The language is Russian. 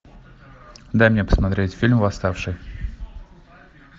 дай мне посмотреть фильм восставшие